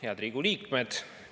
Head Riigikogu liikmed!